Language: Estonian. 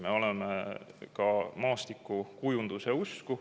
Me oleme ka maastikukujunduse usku.